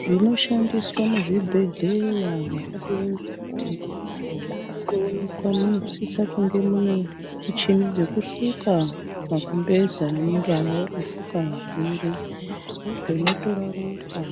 Zvinoshandiswa muzvibhehleya zvakadai ngekuti kunoonekwa munosisa kunga mune muchini dzinosuka makumbezi anenge akafuka varwere, nezvinotora ropa